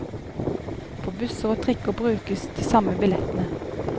På busser og trikker brukes de samme billettene.